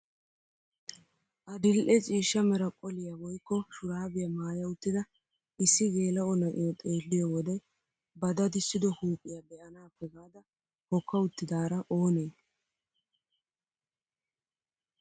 Adil'e ciishsha mera qoliyaa woykko shuraabiyaa maaya uttida issi geela'o na'iyoo xeelliyoo wode ba dadissido huuphphiyaa be'aanaappe gaada hokka uttidaara oonee?